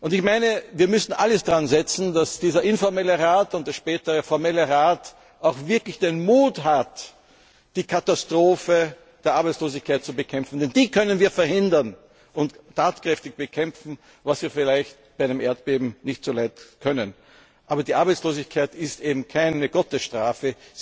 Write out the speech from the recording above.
Ich meine, wir müssen alles daran setzen, dass dieser informelle Rat und der spätere formelle Rat auch wirklich den Mut haben, die Katastrophe der Arbeitslosigkeit zu bekämpfen, denn die können wir verhindern und tatkräftig bekämpfen, was wir vielleicht bei einem Erdbeben nicht so leicht können. Aber Arbeitslosigkeit ist keine Gottesstrafe